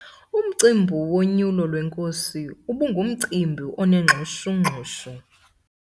Umcimbi wonyulo lwenkosi ubungumcimbi onengxushungxushu.